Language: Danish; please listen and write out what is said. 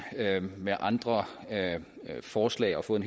med andre forslag og fået